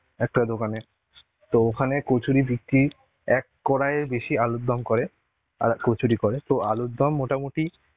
একটা দোকানে. তো ওখানে কচুরি বিক্রি এক কড়াইয়ের বেশি আলুর দম করে আর কচুরি করে. তো আলুর দম মোটামুটি